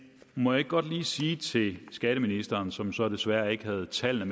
må jeg ikke godt lige sige til skatteministeren som så desværre ikke havde tallene